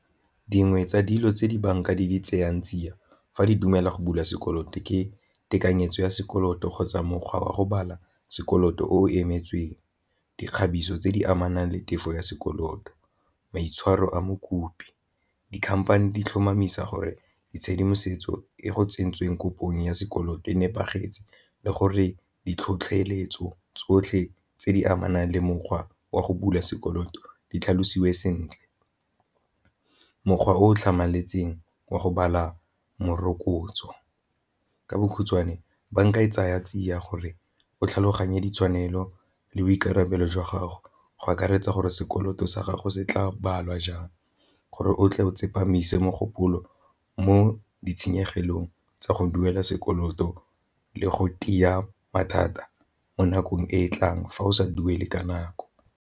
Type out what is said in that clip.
Dingwe tsa dilo tse dibanka di tseyang tsia fa di dumela go bula sekoloto ke tekanyetso ya sekoloto kgotsa mokgwa wa go bala sekoloto o emetseng, dikgabiso tse di amanang le tefo ya sekoloto, maitshwaro a mokopi, dikhamphane di tlhomamisa gore ditshedimosetso e go tsentsweng kopong ya sekoloto e nepagetseng le gore ditlhotlheletso tsotlhe tse di amanang le mokgwa wa go bula sekoloto di tlhalositsweng sentle. Mokgwa o tlhamaletseng wa go bala morokotso ka bokhutswane banka e tsaya tsia gore o tlhaloganye ditshwanelo le boikarabelo jwa gago go akaretsa gore sekoloto sa gago go setla balwa jang gore o tle o tsepamiso mogopolo mo ditshenyegelong tsa go duela sekoloto le go mathata mo nakong e e tlang fa o sa duele ka nako.